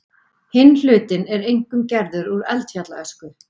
Hinn hlutinn er einkum gerður úr eldfjallaösku.